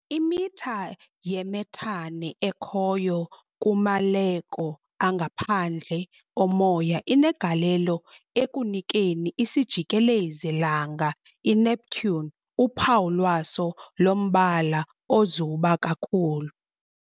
Imitha yemethane ekhoyo kumaleko angaphandle omoya inegalelo ekunikeni isijikelezi-langa iNeptune uphawu lwaso lombala ozuba kakhulu.